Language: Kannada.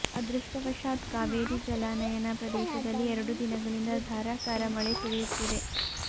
ಅದೃಷ್ಟವಶಾತ್ ಕಾವೇರಿ ಜಲಾನಯನ ಪ್ರದೇಶದಲ್ಲಿ ಎರಡು ದಿನಗಳಿಂದ ಧಾರಾಕಾರ ಮಳೆ ಸುರಿಯುತ್ತಿದೆ